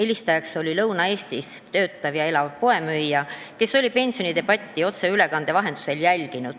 Helistajaks oli Lõuna-Eestis töötav ja elav poemüüja, kes oli pensionidebatti otseülekande vahendusel jälginud.